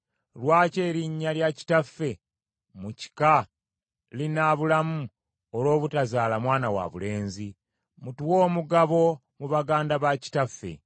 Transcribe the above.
Lwaki erinnya lya kitaffe mu kika linaabulamu olw’obutazaala mwana wabulenzi? Mutuwe omugabo mu baganda ba kitaffe.”